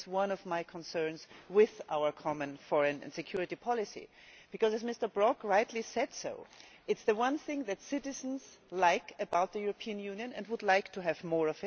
That is one of my concerns with our Common Foreign and Security Policy because, as Mr Brok rightly said, it is the one thing that citizens like about the European Union and of which they would like to have more.